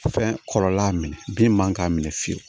Fɛn kɔrɔla minɛ bin man k'a minɛ fiyewu